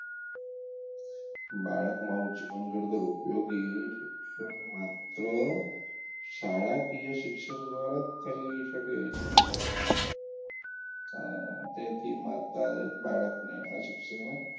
બાળકમાં જીવન ઘડતર ઉપયોગી શિક્ષણ માત્ર શાળાકીય શિક્ષણ દ્વારાં થઈ શકે છે અ તેથી માતાએ બાળકને આ શિક્ષણ,